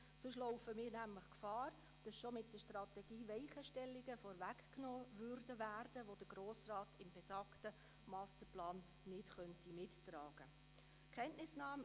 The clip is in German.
Andernfalls liefe der Grosse Rat Gefahr, dass die Strategie bereits Weichenstellungen vorwegnehmen würden, die er in besagtem Masterplan nicht mittragen könnte.